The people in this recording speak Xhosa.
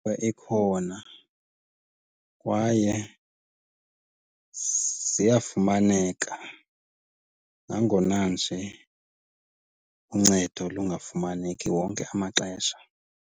Ewe, ikhona kwaye ziyafumaneka, nangona nje uncedo lungafumaneki wonke amaxesha.